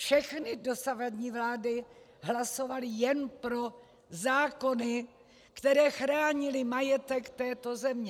Všechny dosavadní vlády hlasovaly jen pro zákony, které chránily majetek této země.